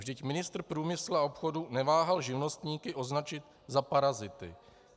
Vždyť ministr průmyslu a obchodu neváhal živnostníky označit za parazity.